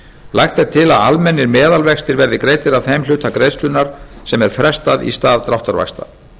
lagt er til að almennir meðalvextir verði greiddir af þeim hluta greiðslunnar sem er frestað í stað dráttarvaxta